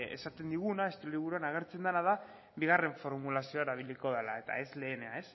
esaten diguna estilo liburuan agertzen dena da bigarren formulazioa erabiliko dela eta ez lehena